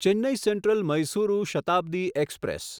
Chennai Central Mysuru Shatabdi express